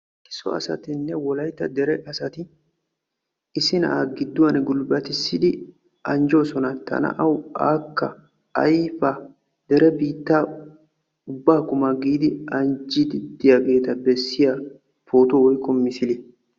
So asay asayinne wolaytta dere asati issi na'aa gidduwaan gulbbatissidi anjjoosona. ta na'awu aakka ayfa dara biittaa kuma giidi anjjiidi diyaageta bessiyaa pootuwaa woykko misiliyaa.